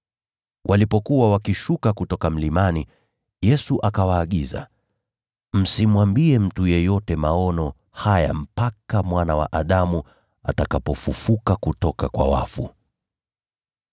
Walipokuwa wakishuka kutoka mlimani, Yesu akawaagiza, “Msimwambie mtu yeyote mambo mliyoyaona hapa, mpaka Mwana wa Adamu atakapofufuliwa kutoka kwa wafu.”